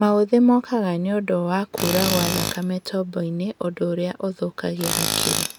Maũthĩ mokaga nĩũndũ wa kũra gwa thakame tombo-inĩ ũndũ ũrĩa ũthũkagia hakiri